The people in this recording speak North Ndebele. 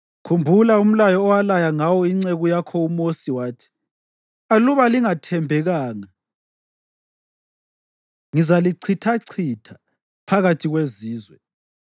Khumbula umlayo owalaya ngawo inceku yakho uMosi wathi, “Aluba lingathembekanga ngizalichithachitha phakathi kwezizwe,